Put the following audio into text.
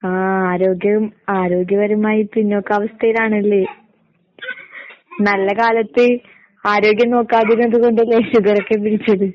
ആഹ് ആരോഗ്യം ആരോഗ്യപരമായി പിന്നോക്കാവസ്ഥയിലാണല്ലേ? നല്ല കാലത്ത് ആരോഗ്യം നോക്കാതിരുന്നത് കൊണ്ടല്ലേ ഷുഗറൊക്കെ പിടിച്ചത്?